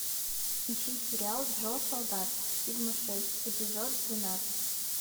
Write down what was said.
ищи сериал джо солдат сигма шесть эпизод двенадцать